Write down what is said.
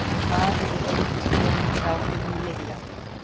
Maðurinn reyndist vera undir áhrifum lyfja